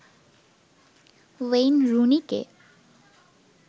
Wayne রুনিকে